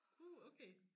Puh okay